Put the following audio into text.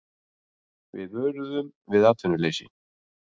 Við vöruðum við atvinnuleysi